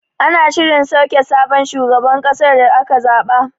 Ana shirin sauke sabon shugaban kasar da aka zaɓa.